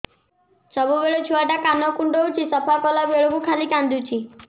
ସବୁବେଳେ ଛୁଆ ଟା କାନ କୁଣ୍ଡଉଚି ସଫା କଲା ବେଳକୁ ଖାଲି କାନ୍ଦୁଚି